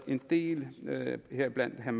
en del heriblandt